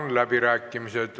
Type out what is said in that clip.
Avan läbirääkimised.